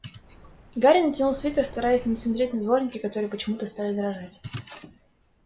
гарри натянул свитер стараясь не смотреть на дворники которые почему-то стали дрожать